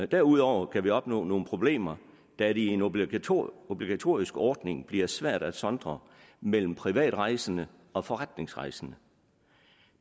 derudover kan vi opnå nogle problemer da det i en obligatorisk obligatorisk ordning bliver svært at sondre mellem privatrejsende og forretningsrejsende